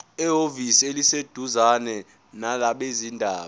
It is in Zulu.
ehhovisi eliseduzane labezindaba